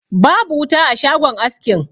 Babu wuta a shagon askin.